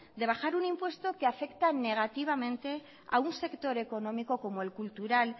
de bajar un impuesto que afecta negativamente a un sector económico como el cultural